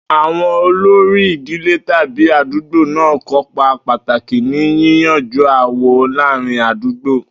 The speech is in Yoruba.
Àwo̩n olórí ìdílé tàbí àdúgbò náà ń kópa pàtàkì ní yíyanjú aáwò̩ láàárín àdúgbò